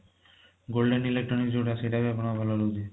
golden electronic ଯୋଊଟା ସେଇଟା ବି ଆପଣଙ୍କର ଭଲ ରହୁଛି